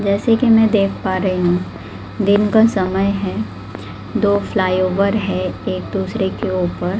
जैसे कि मैं देख पा रही हूं दिन का समय है दो फ्लाईओवर है एक दूसरे के ऊपर--